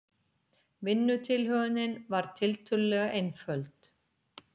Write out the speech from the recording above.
Vinnutilhögunin var tiltölulega einföld.